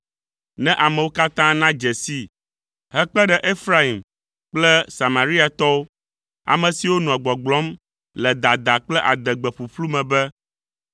ne amewo katã nadze sii hekpe ɖe Efraim kple Samariatɔwo, ame siwo nɔa gbɔgblɔm le dada kple adegbe ƒuƒlu me be,